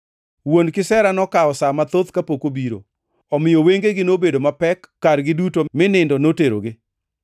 Wuon Kisera nokawo sa mathoth kapok obiro, omiyo wengegi nobedo mapek kargi duto mi nindo noterogi.